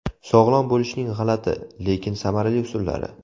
Sog‘lom bo‘lishning g‘alati, lekin samarali usullari.